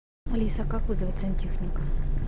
алиса как вызвать сантехника